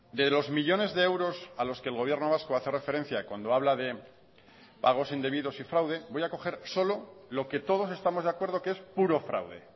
de los millónes de euros a los que el gobierno vasco hace referencia cuando habla de pagos indebidos y fraude voy a coger solo lo que todos estamos de acuerdo que es puro fraude